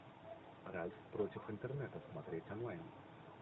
ральф против интернета смотреть онлайн